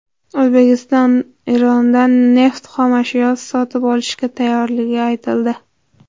O‘zbekiston Erondan neft xomashyosi sotib olishga tayyorligi aytildi.